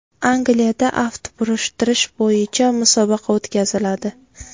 Angliyada aft burishtirish bo‘yicha musobaqa o‘tkaziladi.